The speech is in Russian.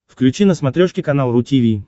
включи на смотрешке канал ру ти ви